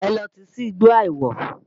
Ẹ lọ tìí sí igbó àìwọ̀!